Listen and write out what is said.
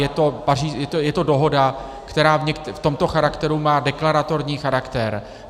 Je to dohoda, která v tomto charakteru má deklaratorní charakter.